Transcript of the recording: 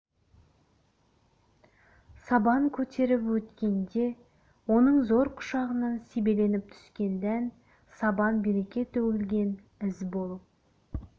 сабан көтеріп өткен де оның зор құшағынан себеленіп түскен дән сабан береке төгілген із болып